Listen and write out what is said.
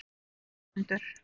Ögmundur